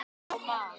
á mann.